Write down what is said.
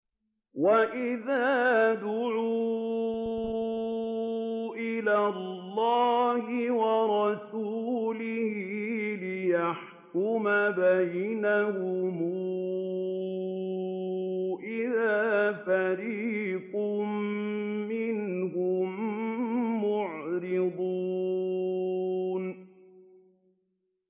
وَإِذَا دُعُوا إِلَى اللَّهِ وَرَسُولِهِ لِيَحْكُمَ بَيْنَهُمْ إِذَا فَرِيقٌ مِّنْهُم مُّعْرِضُونَ